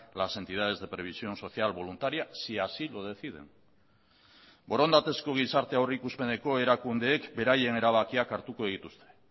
las entidades de previsión social voluntaria si así lo deciden borondatezko gizarte aurrikuspeneko erakundeek beraien erabakiak hartuko dituzte